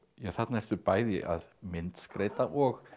þarna ertu bæði að myndskreyta og